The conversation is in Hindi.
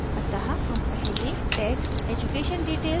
अतः हम पहले text education details चुनते हैं